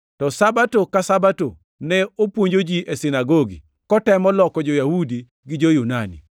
To Sabato ka Sabato, ne opuonjo ji e sinagogi, kotemo loko jo-Yahudi gi jo-Yunani.